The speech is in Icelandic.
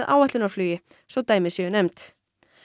áætlunarflugi svo dæmi séu nefnd